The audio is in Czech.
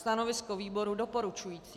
Stanovisko výboru doporučující.